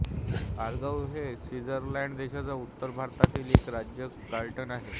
आर्गाउ हे स्वित्झर्लंड देशाच्या उत्तर भागातील एक राज्य कॅंटन आहे